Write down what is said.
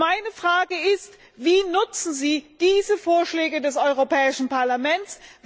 Meine Frage ist Wie nutzen Sie diese Vorschläge des Europäischen Parlaments?